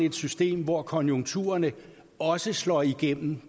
et system hvor konjunkturerne også slår igennem